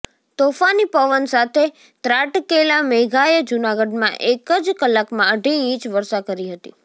તોફાની પવન સાથે ત્રાટકેલા મેઘાએ જૂનાગઢમાં એક જ કલાકમાં અઢી ઈંચ વર્ષા કરી હતી